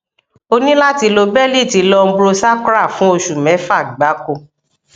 o ní láti lo bẹlíìtì lumbosacral fún oṣù mẹfà gbáko